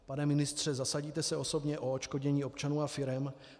Pane ministře, zasadíte se osobně o odškodnění občanů a firem?